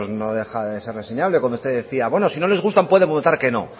no deja de ser reseñable cuando usted decía bueno si no les gusta pueden votar que no